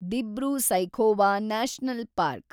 Dibru-Saikhowa national park